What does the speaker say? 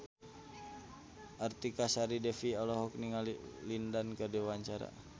Artika Sari Devi olohok ningali Lin Dan keur diwawancara